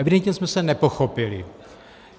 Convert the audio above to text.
Evidentně jsme se nepochopili.